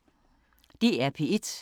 DR P1